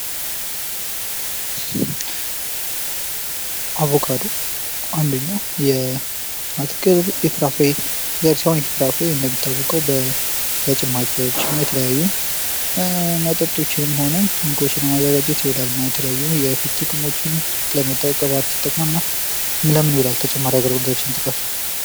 አቮካዶ አንደኛው የ አትክልት የፍራፍሬ ዘር ሲሆን ይህ ፍራፍሬ እንደሚታወቀው ለጭማቂዎች እና ለተለያዩ መጠጦችንም ሆነ ምግቦችን ለማዘጋጀት ይሆናል እና የተለያዩ የፊት ጥቅሞች፣ ለቅባት እና ለምን ይውላል ተጨማሪ አገልግሎቶችን ጥቀሱ?